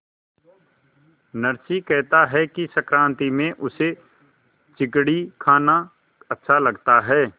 नरसी कहता है कि संक्रांति में उसे चिगडी खाना अच्छा लगता है